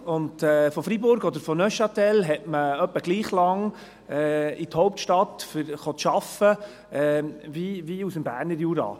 Von Freiburg oder von Neuchâtel her hat man ungefähr gleich lang, um in die Hauptstadt arbeiten zu gehen, wie aus dem Berner Jura.